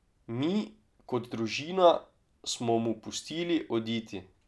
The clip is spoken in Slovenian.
Mi, kot družina, smo mu pustili oditi.